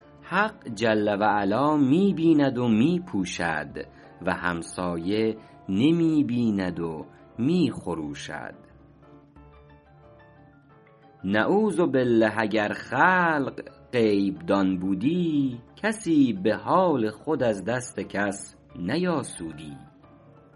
حق جل و علا می بیند و می پوشد و همسایه نمی بیند و می خروشد نعوذبالله اگر خلق غیب دان بودی کسی به حال خود از دست کس نیاسودی